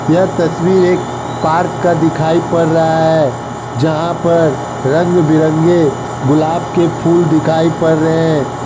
यह तस्वीर एक पार्क का दिखाई पड़ रहा है जहां पर रंग-बिरंगे गुलाब के फूल दिखाई पड़ रहे हैं।